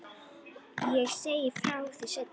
Ég segi frá því seinna.